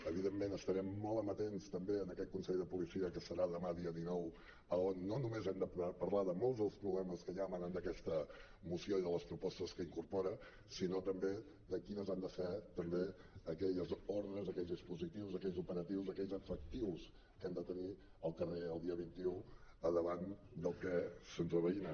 evidentment estarem molt amatents també a aquest consell de la policia que serà demà dia dinou on no només hem de parlar de molts dels problemes que ja emanen d’aquesta moció i de les propostes que incorpora sinó també de quines han de ser també aquelles ordres aquells dispositius aquells operatius aquells efectius que hem de tenir al carrer el dia vint un davant del que se’ns acosta